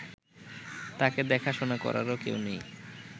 তাঁকে দেখাশোনা করারও কেউ নেই